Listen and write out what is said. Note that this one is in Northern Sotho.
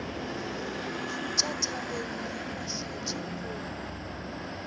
khutša thabeng ya mahlatši go